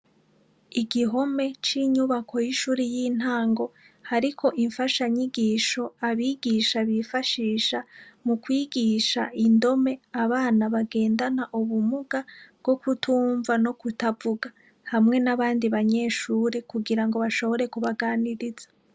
Igihome c'inyubako y'ishuri y'intango hariko imfasha nyigisho abigisha bifashisha mu kwigisha indome abana bagendana ubumuga bwo kutumva no kutavuga hamwe n'abandi banyeshure kugira ngo bashobore kubaganiriza.